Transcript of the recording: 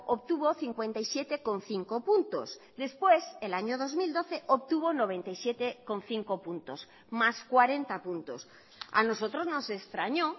obtuvo cincuenta y siete coma cinco puntos después el año dos mil doce obtuvo noventa y siete coma cinco puntos más cuarenta puntos a nosotros nos extrañó